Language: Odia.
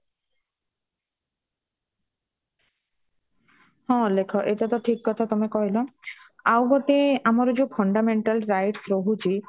ହଁ ଅଲେଖ ଏଇଟା ତ ଠିକ କଥା ତମେ କହିଲ ଆଉ ଗୋଟେ ଆମର ଯାଉ fundamental Rights ରହୁଚି